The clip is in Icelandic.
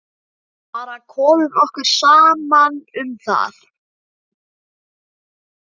Við bara komum okkur saman um það.